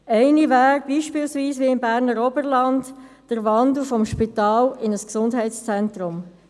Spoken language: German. Eine wäre beispielsweise – wie im Berner Oberland – der Wandel vom Spital zu einem Gesundheitszentrum.